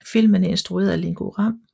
Filmen er instrueret af Ringo Lam